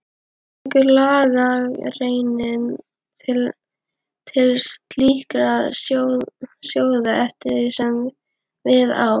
Tekur lagagreinin til slíkra sjóða eftir því sem við á.